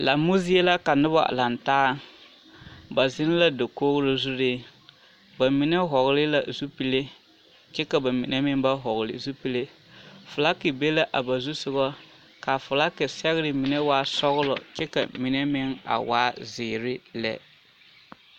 Lammo zie la ka noba lantaa ba zeŋ la dakoɡro zuree ba mine hɔɔle la zupile kyɛ ka ba mine meŋ ba hɔɔle zupile feleke be la a ba zusoɡa ka a felake sɛɡere mine waa sɔɡelɔ kyɛ ka a mine meŋ waa ziiri lɛ.